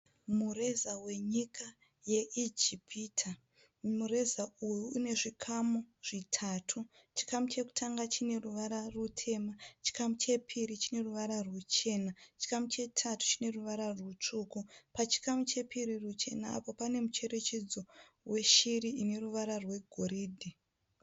Mureza wenyika ye Ijipita mureza uyu une zvikamu zvitatu, chikamu chekutanga chine ruvara rutema, chikamu chepiri chine ruvara ruchena, chikamu chetatu chine ruvara rutsvuku, pachikamu chepiri ruchena apo pane mucherechedzo weshiri ine ruvara rwegoridhe.